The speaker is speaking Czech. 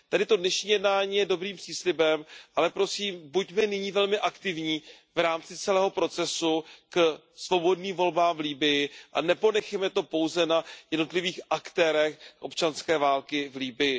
Tedy to dnešní jednání je dobrým příslibem, ale prosím, buďme nyní velmi aktivní v rámci celého procesu k svobodným volbám v Libyi a neponechejme to pouze na jednotlivých aktérech občanské války v Libyi.